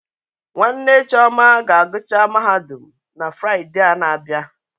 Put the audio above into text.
Nwanne Chioma ga agụcha Mahadum na Fride a na abịa